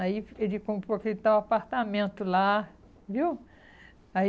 Aí ele comprou aquele tal apartamento lá, viu?